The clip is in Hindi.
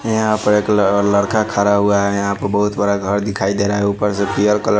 यहां पे एक ल लड़का खडा हुआ है। यहां पे बहोत बड़ा घर दिखाई दे रहा है ऊपर से पियर कलर --